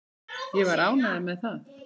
Ég var ánægður með það.